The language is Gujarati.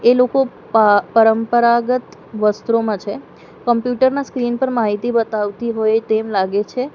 એ લોકો પ પરંપરાગત વસ્ત્રોમાં છે કમ્પ્યુટર ના સ્ક્રીન પર માહિતી બતાવતી હોય તેમ લાગે છે.